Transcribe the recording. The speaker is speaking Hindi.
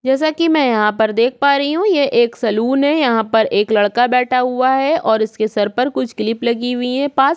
जैसा कि मैं यहाँ पर देख पा रही हूँ ये एक सलून है यहाँ पर एक लड़का बैठा है और उसके सर पर कुछ किलिप लगी हुई है पास --